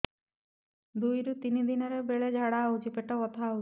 ଦୁଇରୁ ତିନି ଦିନରେ ବେଳେ ଝାଡ଼ା ହେଉଛି ପେଟ ବଥା ହେଉଛି